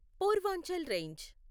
Purvanchal range